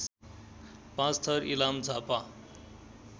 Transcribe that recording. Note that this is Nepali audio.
पाँचथर इलाम झापा